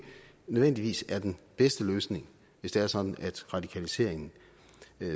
nødvendigvis er den bedste løsning hvis det er sådan at radikaliseringen